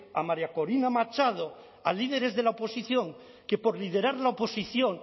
a maría corina machado a líderes de la oposición que por liderar la oposición